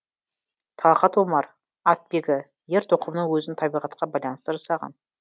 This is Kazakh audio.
талғат омар атбегі ер тоқымның өзін табиғатқа байланысты жасаған